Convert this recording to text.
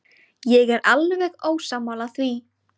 Ég er alveg ósammála því.